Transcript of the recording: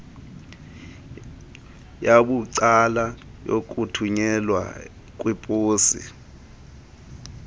yabucala yokuthunyelwa kweposi